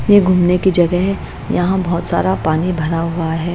ये घूमने की जगह है यहाँ बहुत सारा पानी भरा हुआ है।